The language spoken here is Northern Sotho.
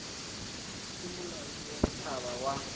ke molaodi wa setšhaba wa